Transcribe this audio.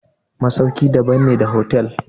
masauki daban ne da hotel.